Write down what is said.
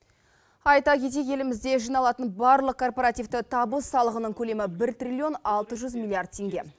айта кетейік елімізде жиналатын барлық корпоративті табыс салығының көлемі бір триллион алты жүз миллиард теңге